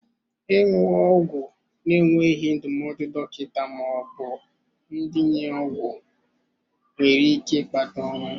Ịṅụ ọgwụ na-enweghị ndụmọdụ dọkịta ma ọ bụ ndenye ọgwụ nwere ike ịkpata ọnwụ.